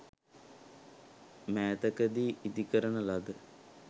මෑතකදී ඉදි කරන ලද